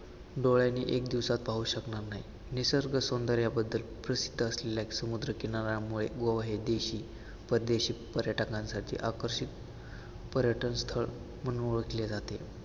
डोळ्यांनी एक दिवसात पाहू शकणार नाही, निसर्ग सौंदर्यबद्दल प्रसिद्ध असलेला एक समुद्र किनाऱ्यामुळे व हे देशी, परदेशी पर्यटकांसाठी आकर्षित पर्यटन स्थळ म्हणून ओळखले जाते.